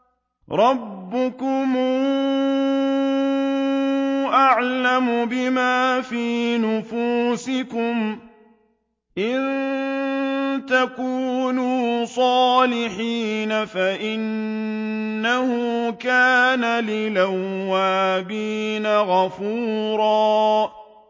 رَّبُّكُمْ أَعْلَمُ بِمَا فِي نُفُوسِكُمْ ۚ إِن تَكُونُوا صَالِحِينَ فَإِنَّهُ كَانَ لِلْأَوَّابِينَ غَفُورًا